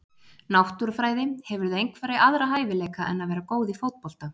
Náttúrufræði Hefurðu einhverja aðra hæfileika en að vera góð í fótbolta?